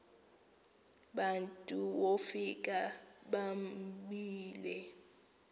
bantu wofika bobile